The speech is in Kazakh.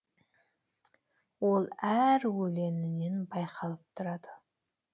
ол әр өлеңінен байқалып тұрады